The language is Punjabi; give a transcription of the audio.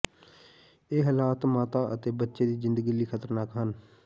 ਇਹ ਹਾਲਾਤ ਮਾਤਾ ਅਤੇ ਬੱਚੇ ਦੀ ਜ਼ਿੰਦਗੀ ਲਈ ਖ਼ਤਰਨਾਕ ਹਨ